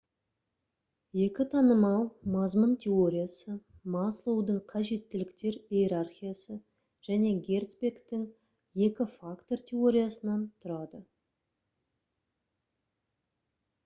екі танымал мазмұн теориясы маслоудың қажеттіліктер иерархиясы және герцбергтің екі фактор теориясынан тұрады